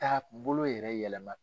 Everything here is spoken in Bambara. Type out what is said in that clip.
Taabolo yɛrɛ yɛlɛma.